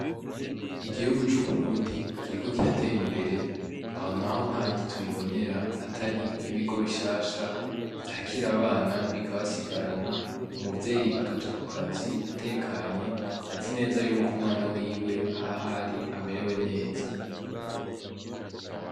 Igihugu c’Uburundi kiriko kiratera imbere aho naho nta handi tubibonera atari nk’ibigo bishasha vyakira abana bikabasigarana, umuvyeyi akaja ku kazi atekanye azi neza ko umwana wiwe ahari amerewe neza .